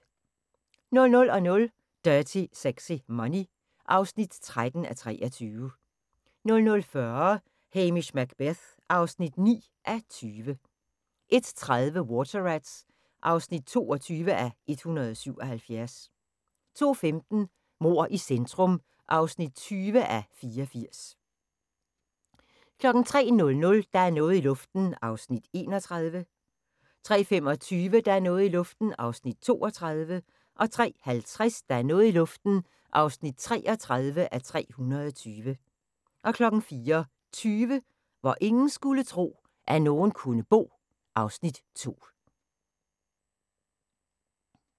00:00: Dirty Sexy Money (13:23) 00:40: Hamish Macbeth (9:20) 01:30: Water Rats (22:177) 02:15: Mord i centrum (20:84) 03:00: Der er noget i luften (31:320) 03:25: Der er noget i luften (32:320) 03:50: Der er noget i luften (33:320) 04:20: Hvor ingen skulle tro, at nogen kunne bo (Afs. 2)